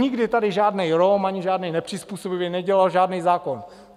Nikdy tady žádný Rom ani žádný nepřizpůsobivý nedělal žádný zákon.